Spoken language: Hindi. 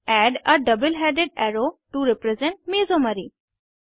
add a double headed arrow to represent मेसोमेरी